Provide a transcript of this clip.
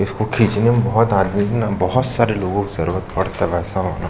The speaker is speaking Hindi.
इसको खीचनें में बहुत आदमी हैं ना बहुत सारे लोगों का जरूरत पड़ता हैं वैसा वाला --